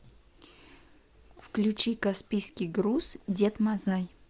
включи каспийский груз дед мазай